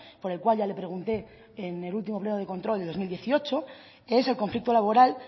por el cual ya le pregunté en el último pleno de control del dos mil dieciocho que es el conflicto laboral